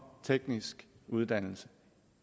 teknisk uddannelse